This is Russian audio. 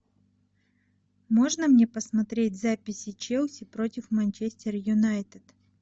можно мне посмотреть записи челси против манчестер юнайтед